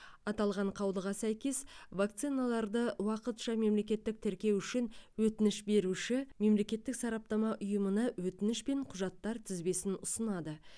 аталған қаулыға сәйкес вакциналарды уақытша мемлекеттік тіркеу үшін өтініш беруші мемлекеттік сараптама ұйымына өтініш пен құжаттар тізбесін ұсынады